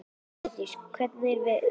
Páldís, hvernig er veðurspáin?